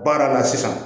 Baara la sisan